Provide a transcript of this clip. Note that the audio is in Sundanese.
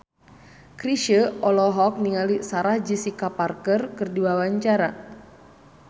Chrisye olohok ningali Sarah Jessica Parker keur diwawancara